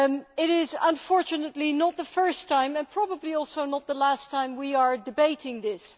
It is, unfortunately, not the first time and probably also not the last time we will be debating this.